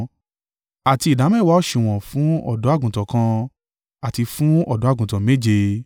àti ìdámẹ́wàá òsùwọ̀n fún ọ̀dọ́-àgùntàn kan, àti fún ọ̀dọ́-àgùntàn méje.